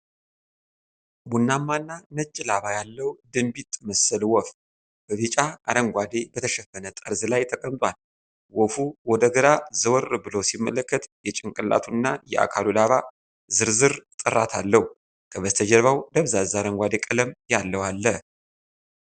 ቡናማና ነጭ ላባ ያለው ድንቢጥ መሰል ወፍ፣ በቢጫ አረንጓዴ በተሸፈነ ጠርዝ ላይ ተቀምጧል። ወፉ ወደ ግራ ዘወር ብሎ ሲመለከት፣ የጭንቅላቱና የአካሉ ላባ ዝርዝር ጥራት አለው። ከበስተጀርባው ደብዛዛ አረንጓዴ ቀለም ያለው አለ።